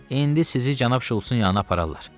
İndi sizi cənab Şultsın yanına apararlar.